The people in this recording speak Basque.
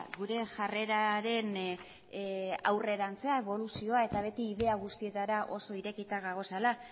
gure jarreraren aurrerapena eboluzioa eta beti ideia guztietara oso irekita gaudela